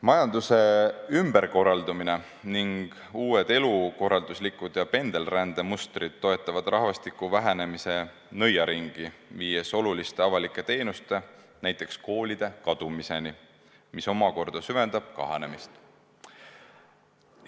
Majanduse ümberkorraldumine ning uued elukorralduslikud ja pendelrändemustrid toetavad rahvastiku vähenemise nõiaringi, viies oluliste avalike teenuste, näiteks koolide kadumiseni, mis omakorda süvendab kahanemist.